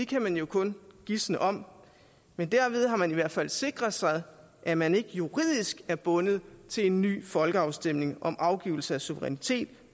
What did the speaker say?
kan man jo kun gisne om men derved har man i hvert fald sikret sig at man ikke juridisk er bundet til en ny folkeafstemning om afgivelse af suverænitet